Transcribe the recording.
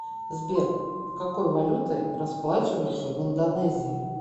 сбер какой валютой расплачиваются в индонезии